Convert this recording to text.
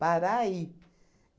Parar e.